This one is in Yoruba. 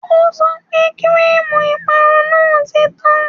O sọ pé kíríìmù ìparun náà ti tán